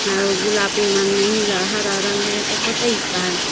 अऊ गुलाबी मन में नीला हरा रंग में पोताईस आहै।